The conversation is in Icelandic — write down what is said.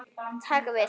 Taka við?